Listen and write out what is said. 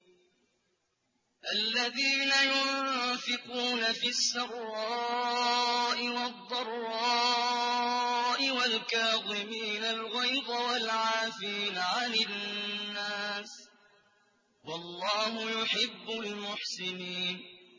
الَّذِينَ يُنفِقُونَ فِي السَّرَّاءِ وَالضَّرَّاءِ وَالْكَاظِمِينَ الْغَيْظَ وَالْعَافِينَ عَنِ النَّاسِ ۗ وَاللَّهُ يُحِبُّ الْمُحْسِنِينَ